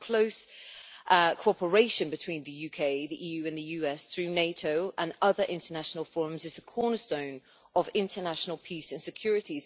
The close cooperation between the UK, the EU and the US through NATO and other international forums is the cornerstone of international peace and security.